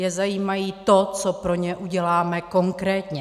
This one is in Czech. Je zajímá to, co pro ně uděláme konkrétně.